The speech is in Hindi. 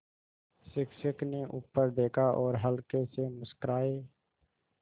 शिक्षक ने ऊपर देखा और हल्के से मुस्कराये